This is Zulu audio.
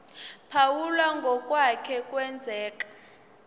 phawula ngokwake kwenzeka